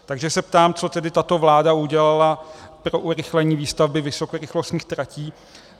Takže se ptám, co tedy tato vláda udělala pro urychlení výstavby vysokorychlostních tratí.